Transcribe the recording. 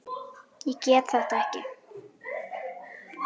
Ég get þetta ekki.